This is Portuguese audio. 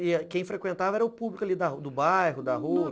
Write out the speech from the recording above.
E quem frequentava era o público ali da do bairro, da rua?